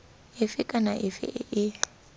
efe kana efe e e